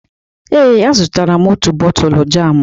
Ee, azụrụ m otu bọtụlụ jamụ.